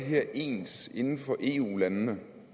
det her ens inden for eu landene